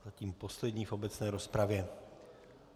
Zatím poslední v obecné rozpravě.